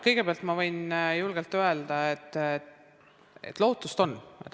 Kõigepealt võin julgelt öelda, et lootust on.